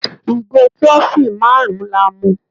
Ìgò trophy márùn-ún la mu.